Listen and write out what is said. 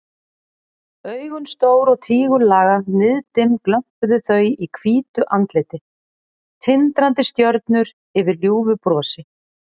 Augun stór og tígullaga, niðdimm glömpuðu þau í hvítu andliti, tindrandi stjörnur yfir ljúfu brosi.